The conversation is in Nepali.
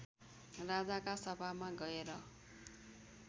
राजाका सभामा गएर